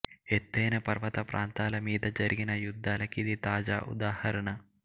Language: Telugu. ఎత్తైన పర్వత ప్రాంతాల మీద జరిగిన యుద్ధాల కిది తాజా ఉదాహరణ